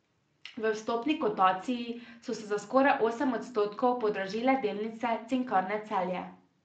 V vstopni kotaciji so se za skoraj osem odstotkov podražile delnice Cinkarne Celje.